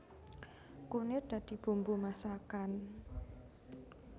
Kunir dadi bumbu masakan